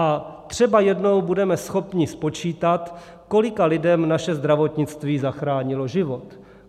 A třeba jednou budeme schopni spočítat, kolika lidem naše zdravotnictví zachránilo život.